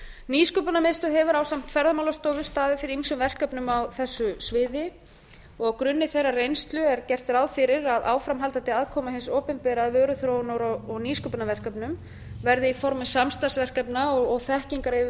nýsköpunarmiðstöð hefur ásamt ferðamálastofu staðið fyrir ýmsum verkefnum á þessu sviði á gruni þeirrar reynslu er gert ráð fyrir að áframhaldandi aðkoma hins opinbera að vöruþróun og nýsköpunarverkefnum verði í formi samstarfsverkefna og